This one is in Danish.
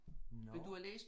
Nåh!